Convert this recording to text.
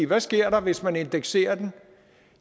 hvad sker der hvis man indekserer den